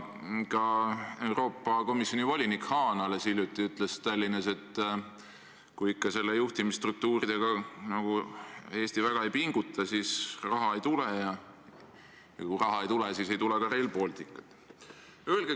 Ka Euroopa Komisjoni volinik Hahn alles hiljuti ütles Tallinnas, et kui projekti juhtimisstruktuuridega Eesti väga ei pinguta, siis raha ei tule, ja kui raha ei tule, siis ei tule ka Rail Balticut.